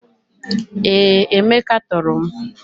Ee, Emeka toro m.